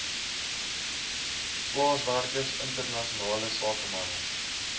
plaaswerkers internasionale sakemanne